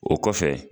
O kɔfɛ